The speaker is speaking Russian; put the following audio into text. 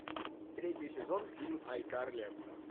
третий сезон фильм айкарли